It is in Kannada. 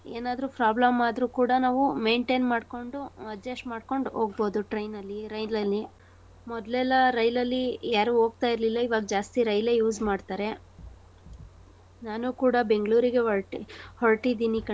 ಏನಾದ್ರೂ problem ಆದ್ರೂ ಕೂಡಾ ನಾವು maintain ಮಾಡ್ಕೊಂಡು adjust ಮಾಡ್ಕೊಂಡ್ ಹೋಗ್ಬೋದು train ನಲ್ಲಿ ರೈಲಲ್ಲಿ. ಮೊದ್ಲೇಲ್ಲಾ ರೈಲಲ್ಲಿ ಯಾರು ಹೋಗ್ತಾಯಿರ್ಲಿಲ್ಲ. ಇವಾಗ್ ಜಾಸ್ತಿ ರೈಲೇ use ಮಾಡ್ತಾರೆ. ನಾನು ಕೂಡಾ ಬೆಂಗ್ಳೂರಿಗೆ ಹೊರ್ಟಿ~ ಹೊರ್ಟಿದೀನಿ.